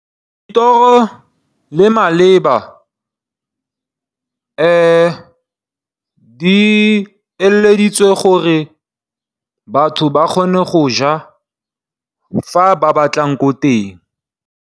Dithoro le mabele di eleditswe gore batho ba kgone go ja fa ba batlang ko teng.